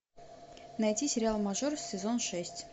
найти сериал мажор сезон шесть